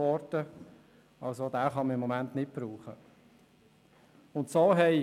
Diesen kann man im Moment also auch nicht nutzen.